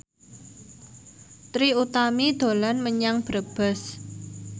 Trie Utami dolan menyang Brebes